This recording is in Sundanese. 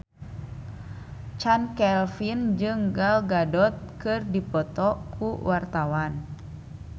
Chand Kelvin jeung Gal Gadot keur dipoto ku wartawan